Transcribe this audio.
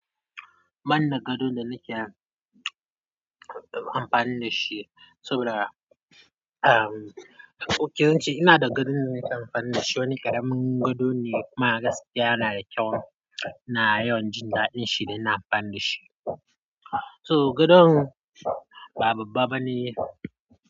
Ban da gadon da nake amfani da shi saboda okay, yawancin ina da gadon da nake amfani da shi. Wani ƙaramin gado ne kuma a gaskiya yana da kyau. Na yawan jin daɗin shi da na amfani da shi. So gadon ba babba ba ne.